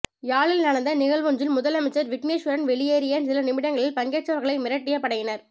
யாழில் நடந்த நிகழ்வொன்றில் முதலமைச்சர் விக்கினேஸ்வரன் வெளியேறிய சில நிமிடங்களில் பங்கேற்றவர்களை மிரட்டிய படையினர்